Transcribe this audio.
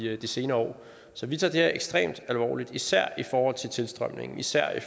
de senere år så vi tager det her ekstremt alvorligt især i forhold til øget tilstrømning især i